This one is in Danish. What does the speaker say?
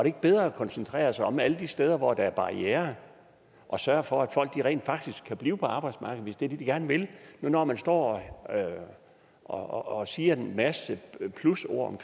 ikke bedre at koncentrere sig om alle de steder hvor der er barrierer og sørge for at folk rent faktisk kan blive på arbejdsmarkedet hvis det er det de gerne vil nu når man står og siger en masse plusord om